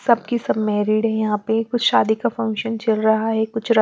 सबकी सब मैरिड हैं यहाँ पे कुछ शादी का फंक्शन चल रहा है कुछ र--